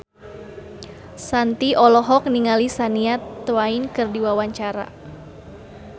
Shanti olohok ningali Shania Twain keur diwawancara